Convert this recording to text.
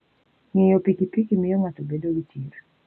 Ng'iyo pikipiki miyo ng'ato bedo gi chir.